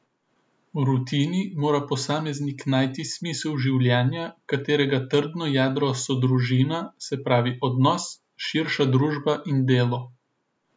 V rutini mora posameznik najti smisel življenja, katerega trdno jedro so družina, se pravi odnos, širša družba in delo.